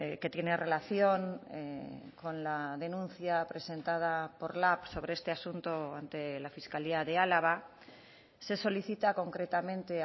que tiene relación con la denuncia presentada por lab sobre este asunto ante la fiscalía de álava se solicita concretamente